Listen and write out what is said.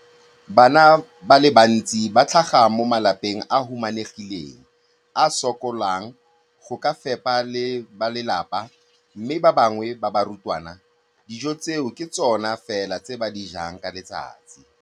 Bana ba le bantsi ba tlhaga mo malapeng a a humanegileng a a sokolang go ka fepa ba lelapa mme ba bangwe ba barutwana, dijo tseo ke tsona fela tse ba di jang ka letsatsi.